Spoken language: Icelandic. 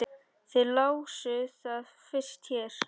Þið lásuð það fyrst hér!